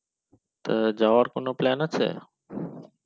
তো যাওয়ার কোনো plan আছে